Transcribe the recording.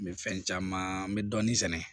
N bɛ fɛn caman n bɛ dɔɔnin sɛnɛ